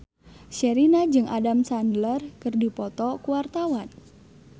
Sherina jeung Adam Sandler keur dipoto ku wartawan